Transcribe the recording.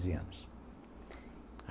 anos.